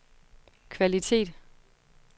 kvalitet